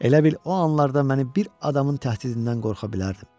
Elə bil o anlarda məni bir adamın təhdidindən qorxa bilərdim.